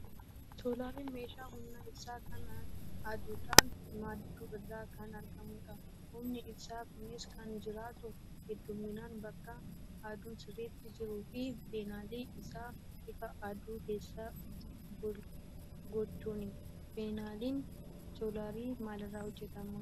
Soolariin meeshaa humna ibsaa kan aduudhaan maddu irraa kan argamudha. Humni ibsaa kunis kan jiraatu hedduminaan bakka aduun sirriitti jiruu fi paaneelii isaa ifa aduu keessa gochuuni. Paaneeliin soolarii maalirraa hojjatama?